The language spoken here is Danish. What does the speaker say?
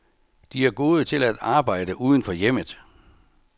De er gode til at arbejde uden for hjemmet.